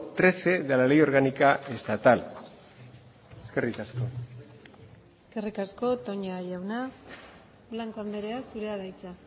trece de la ley orgánica estatal eskerrik asko eskerrik asko toña jauna blanco andrea zurea da hitza